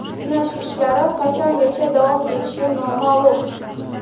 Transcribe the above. Sinash ishlari qachongacha davom etishi noma’lum.